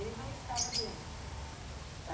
Ele não estava doente?